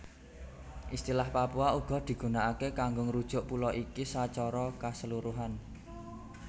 Istilah Papua uga digunaaké kanggo ngrujuk pulo iki sacara kaseluruhan